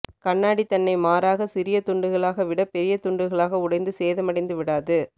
கண்ணாடி தன்னை மாறாக சிறிய துண்டுகளாக விட பெரிய துண்டுகளாக உடைந்து சேதமடைந்து விடாது